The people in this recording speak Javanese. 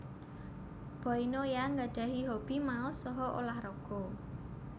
Boy Noya nggadhahi hobi maos saha ulah raga